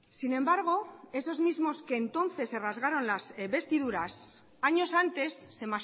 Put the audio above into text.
sin embargo esos mismos que entonces se rasgaron las vestiduras años antes se